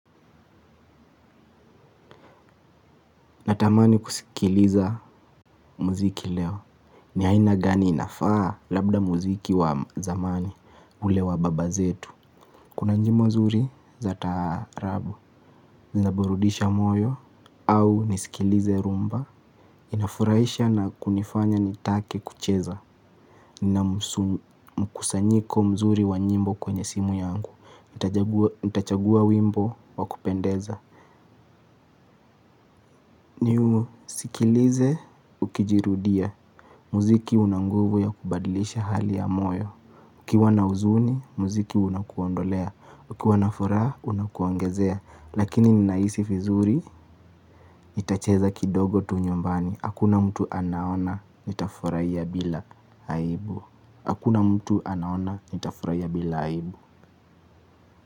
Natamani kusikiliza muziki leo. Ni aina gani inafaa labda muziki wa zamani ule wa baba zetu. Kuna nyimbo zuri za taarabu. Zina burudisha moyo au nisikilize rumba. Inafurahisha na kunifanya nitake kucheza. Nina mkusanyiko mzuri wa nyimbo kwenye simu yangu. Nitachagua wimbo wa kupendeza. Sikilize ukijirudia. Muziki una nguvu ya kubadilisha hali ya moyo ukiwa na uzuni, muziki unakuondolea uKiwa na furaha, unakuongezea. Lakini ninahisi vizuri, nitacheza kidogo tu nyumbani. Hakuna mtu anaona, nitafuraia bila aibu. Hakuna mtu anaona, nitafuraia bila aibu.